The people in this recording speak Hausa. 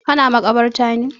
Ka na makabarta ne?